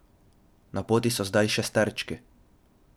Na poti so zdaj šesterčki.